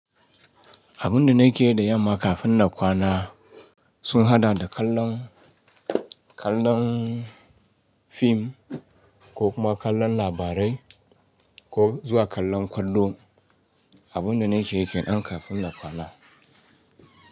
Abun da nake yi da yamma kafin na kwana sun hada da kallon, kallon fim ko kuma kallon labarai ko zuwa kallon kallo. Abun da nake yi kenan kafin na kwana.